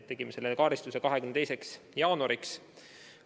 Tegime selle kaardistuse 22. jaanuariks.